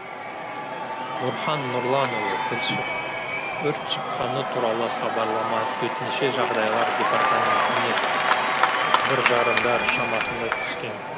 нұрхан нұрланұлы тілші өрт шыққаны туралы хабарлама төтенше жағдайлар департаментіне бір жарымдар шамасында түскен